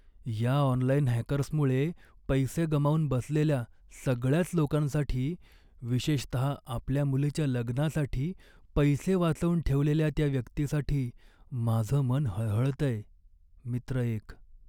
या ऑनलाइन हॅकर्समुळे पैसे गमावून बसलेल्या सगळ्याच लोकांसाठी, विशेषतहा आपल्या मुलीच्या लग्नासाठी पैसे वाचवून ठेवलेल्या त्या व्यक्तीसाठी माझं मन हळहळतंय. मित्र एक